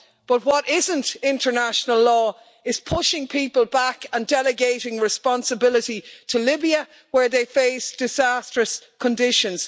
But what isn't international law is pushing people back and delegating responsibility to Libya, where they face disastrous conditions.